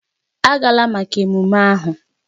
Agala maka ememme ahụ!